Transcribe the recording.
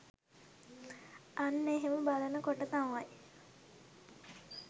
අන්න එහෙම බලන කොට තමයි